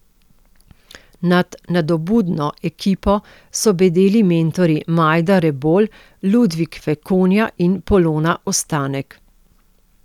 Nad nadobudno ekipo so bedeli mentorji Majda Rebolj, Ludvik Fekonja in Polona Ostanek.